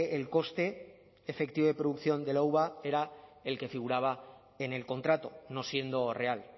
el coste efectivo de producción de la uva era el que figuraba en el contrato no siendo real